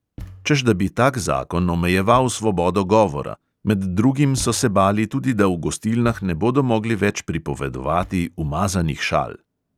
Češ da bi tak zakon omejeval svobodo govora, med drugim so se bali tudi, da v gostilnah ne bodo mogli več pripovedovati umazanih šal.